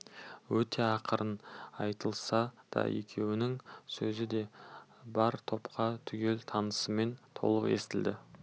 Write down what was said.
өте ақырын айтылса да екеуінің сөзі де бар топқа түгел тынысымен толық естілді